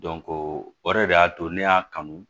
o yɛrɛ de y'a to ne y'a kanu